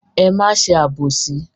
Ẹ má ṣe àbòsí.